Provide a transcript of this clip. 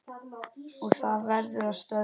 Og það verður að stöðva.